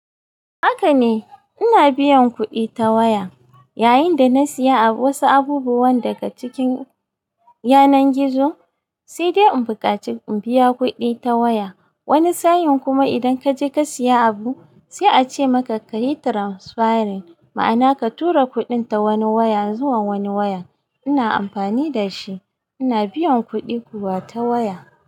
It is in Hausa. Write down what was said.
Haka ne, ina biyan kuɗi ta waya. Yayinda na siya wasu abubuwan daga cikin yanar gizo sai dai in bukaci in biya kudi ta waya. Wani sa, in kuma idan kaje ka siya abu sai a ce maka ka yi transferring, ma'ana ka tura kuɗin ta wani waya zuwa wani waya. Ina amfani da shi, ina biyan kuɗi kuwa ta waya.